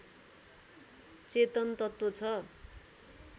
चेतन तत्त्व छ